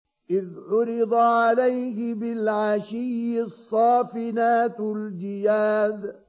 إِذْ عُرِضَ عَلَيْهِ بِالْعَشِيِّ الصَّافِنَاتُ الْجِيَادُ